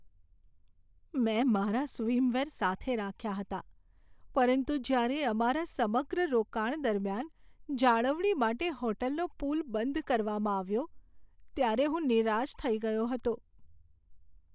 મેં મારા સ્વિમવેર સાથે રાખ્યા હતા પરંતુ જ્યારે અમારા સમગ્ર રોકાણ દરમિયાન જાળવણી માટે હોટલનો પૂલ બંધ કરવામાં આવ્યો, ત્યારે હું નિરાશ થઈ ગયો હતો.